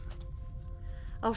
á